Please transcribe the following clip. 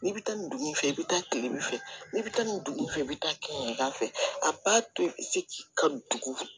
N'i bɛ taa nin dugu in fɛ i bɛ taa tile de fɛ n'i bɛ taa nin dugu in fɛ i bɛ taa kɛ da fɛ a b'a to i bɛ se k'i ka dugu